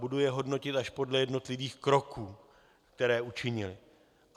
Budu je hodnotit až podle jednotlivých kroků, které učinili.